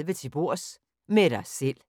13:30: Til bords – med dig selv